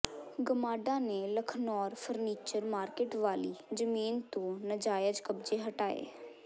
ਗਮਾਡਾ ਨੇ Lakhnaur furniture market ਵਾਲੀ ਜ਼ਮੀਨ ਤੋਂ ਨਾਜਾਇਜ਼ ਕਬਜ਼ੇ ਹਟਾਏ